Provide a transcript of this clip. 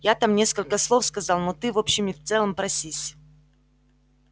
я там несколько слов сказал но ты в общем и целом просись